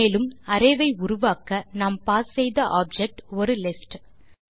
மேலும் அரே ஐ உருவாக்க நாம் பாஸ் செய்த ஆப்ஜெக்ட் ஒரு லிஸ்ட்